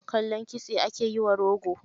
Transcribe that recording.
Kallon kitse, ake yiwa rogo.